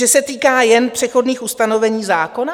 Že se týká jen přechodných ustanovení zákona?